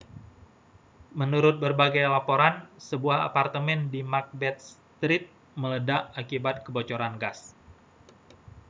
menurut berbagai laporan sebuah apartemen di macbeth street meledak akibat kebocoran gas